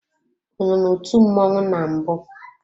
Ọ nọ n'otu mmọnwụ na mbụ?